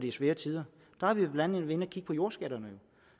er svære tider der har vi blandt andet været inde at kigge på jordskatterne